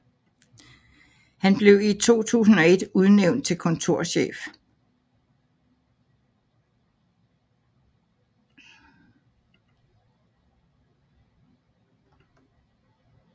Han blev i 2001 udnævnt til kontorchef